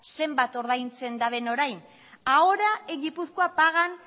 zenbat ordaintzen daben orain ahora en gipuzkoa pagan